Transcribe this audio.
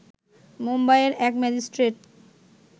মুম্বাইয়ের এক ম্যাজিস্ট্রেট